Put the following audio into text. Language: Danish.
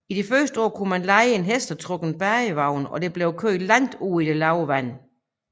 I de første år kunne man leje en hestetrukken badevogne der blev kørt langt ud i det lave vand